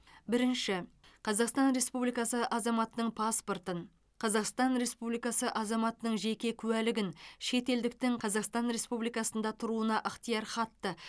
бірінші қазақстан республикасы азаматының паспортын қазақстан республикасы азаматының жеке куәлігін шетелдіктің қазақстан республикасында тұруына ықтиярхатты